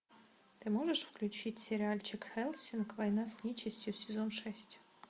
ты можешь включить сериальчик хеллсинг война с нечистью сезон шесть